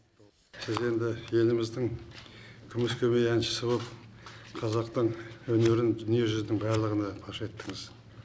сіз енді еліміздің күміс көмей әншісі боп қазақтың өнерін дүниежүзінің барлығына паш еттіңіз